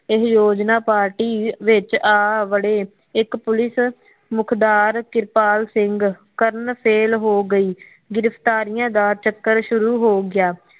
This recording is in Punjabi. ਇਹ ਯੋਜਨਾ ਪਾਰਟੀ ਵਿੱਚ ਆ ਵੜੇ ਇਕ ਪੁਲਿਸ ਮੁੱਖਦਾਰ ਕਿਰਪਾਲ ਸਿੰਘ ਕਰਨ ਸੇਲ ਹੋ ਗਈ ਗ੍ਰਿਫ਼ਤਾਰਿਆ ਦਾ ਚੱਕਰ ਸ਼ੁਰੂ ਹੋ ਗਿਆ